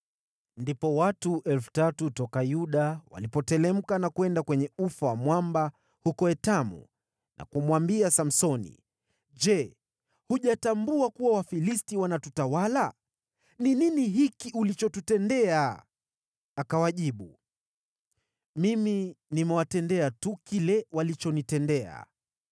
Ndipo watu 3,000 toka Yuda walipoteremka na kwenda kwenye ufa wa mwamba huko Etamu, na kumwambia Samsoni, “Je, hujatambua kuwa Wafilisti wanatutawala? Ni nini hiki ulichotutendea?” Akawajibu, “Mimi nimewatendea tu kile walichonitendea.”